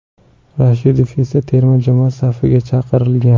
Rashidov esa terma jamoa safiga chaqirilgan.